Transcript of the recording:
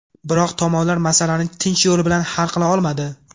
Biroq tomonlar masalani tinch yo‘l bilan hal qila olmadi.